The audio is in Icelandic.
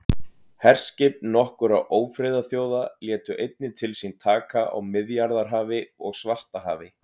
herskip nokkurra ófriðarþjóða létu einnig til sín taka á miðjarðarhafi og svartahafi